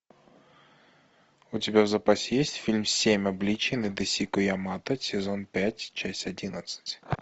у тебя в запасе есть фильм семь обличий надэсико ямато сезон пять часть одиннадцать